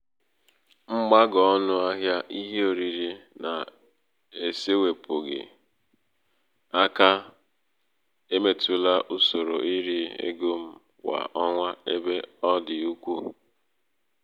mgbago ọnụ ahịā ihe oriri na-esēpụ̀ghị̀ aka èmetụla ụsòrò irī ego m kwà ọnwa ebe ọ dị̀ ukwuu.